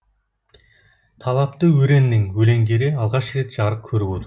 талапты өреннің өлеңдері алғаш рет жарық көріп отыр